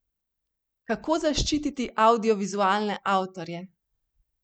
Kako zaščititi avdiovizualne avtorje?